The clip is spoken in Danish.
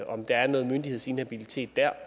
om der er noget myndighedsinhabilitet der